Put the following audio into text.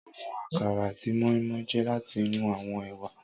Awọn akara ati moi-moi jẹ lati inu awọn ewa.